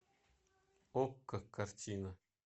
окко картина